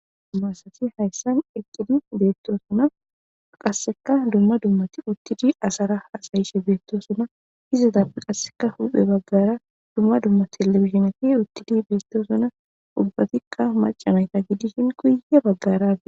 Duma asati hayssan eqqidi beettosona qaseka dumma dummati uttidi asara hasayishe beettosona izatappe qasseka huphe baggara dumma dumma telebizhineti uttidi beettosona ubbatikka maca nayta giddishin guye baggara...